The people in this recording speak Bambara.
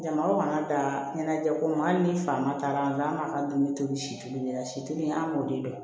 Jama man ka dan ɲɛnajɛko ma hali ni faama taara an ka dumuni tobi si tɛ kelen ye situ an b'o de dɔn